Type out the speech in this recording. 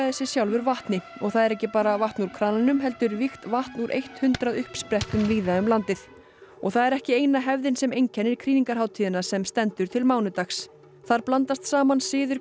sig sjálfur vatni og það er ekki bara vatn úr krananum heldur vígt vatn úr hundrað uppsprettum víða um landið og það er ekki eina hefðin sem einkennir krýningarhátíðina sem stendur til mánudags þar blandast saman siðir